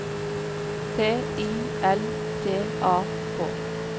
T I L T A K